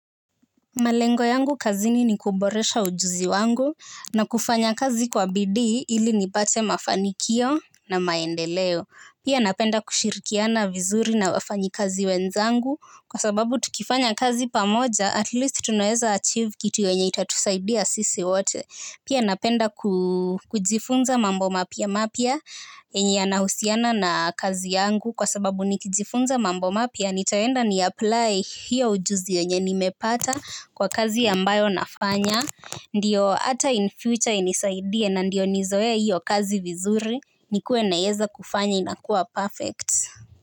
Malengo yangu kazini ni kuboresha ujuzi wangu na kufanya kazi kwa bidii ili nipate mafanikio na maendeleo. Pia napenda kushirikiana vizuri na wafanyikazi wenzangu kwa sababu tukifanya kazi pamoja at least tunaweza achieve kitu yenye itatusaidia sisi wote. Pia napenda kujifunza mambo mapya mapya yenye yanahusiana na kazi yangu kwa sababu nikijifunza mambo mapya nitaenda niapply hiyo ujuzi yenye nimepata kwa kazi ambayo nafanya. Ndiyo ata in future inisaidie na ndiyo nizoee hiyo kazi vizuri nikuwe naiyeza kufanya inakuwa perfect.